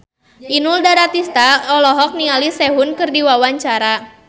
Inul Daratista olohok ningali Sehun keur diwawancara